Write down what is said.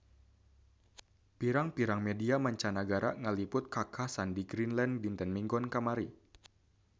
Pirang-pirang media mancanagara ngaliput kakhasan di Greenland dinten Minggon kamari